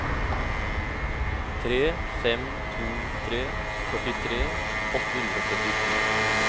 tre fem to tre førtitre åtte hundre og syttito